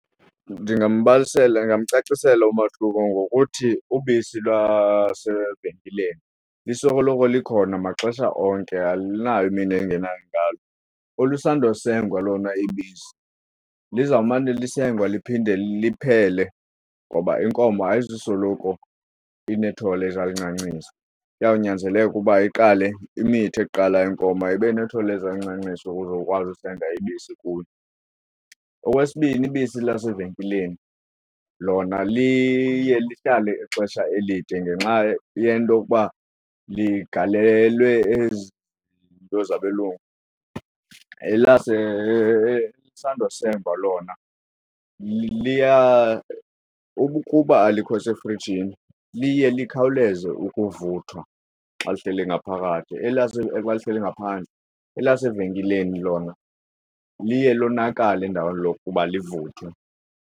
Ndingambalisela, ndingamcacisela umahluko ngokuthi ubisi lwasevenkileni lisoloko likhona maxesha onke alunayo imini engena ngalo. Olusandosengwa lona ibisi lizawumana lisengwa liphinde liphele ngoba inkomo ayizusoloko inethole ezalincancisa, kuyawunyanzeleka uba iqale imithe qala iinkomo ibe nethole ezalincancisa ukuze uzokwazi usenga ubisi kuyo. Okwesibini, ibisi lasevenkileni lona liye lihlale ixesha elide ngenxa yento okuba ligalelwe ezi zinto zabelungu. Elisandosengwa lona ukuba alikho sefrijini liye likhawuleze ukuvuthwa xa lihleli ngaphakathi xa lihleli ngaphandle. Elasevenkileni lona liye lonakale endaweni lokuba livuthiwe.